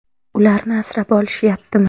ularni asrab olishyaptimi?